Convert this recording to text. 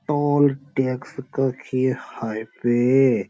toll tax कखी highway --